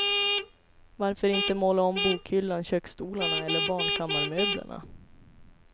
Varför inte måla om bokhyllan, köksstolarna eller barnkammarmöblerna.